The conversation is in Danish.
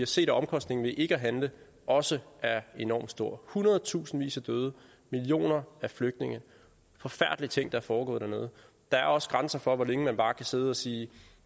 set at omkostningerne ved ikke at handle også er enormt store hundredtusindvis af døde millioner af flygtninge forfærdelige ting der foregår i landet der er også grænser for hvor længe man bare kan sidde og sige